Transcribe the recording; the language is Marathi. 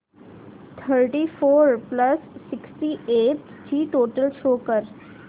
thirty four plus sixty eight ची टोटल शो कर